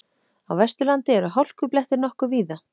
Á Vesturlandi eru hálkublettir nokkuð víða